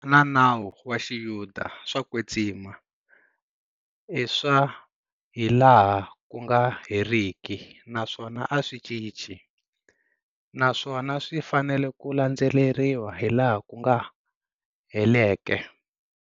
Na nawu wa xiyuda swa kwetsima, iswa hilaha kunga heriki naswona aswi cinci, naswona swi fanela ku landzeleriwa hilaha ku heleke.